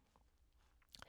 DR2